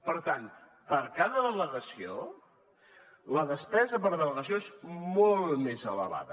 per tant per cada delegació la despesa per delegació és molt més elevada